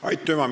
Aitüma!